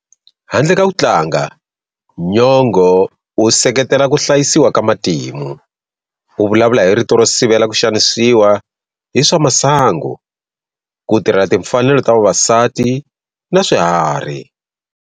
Handle ka ku tlanga, Nyong'o u seketela ku hlayisiwa ka matimu. U vulavula hi rito ro sivela ku xanisiwa hi swa masangu, ku tirhela timfanelo ta vavasati na swiharhi.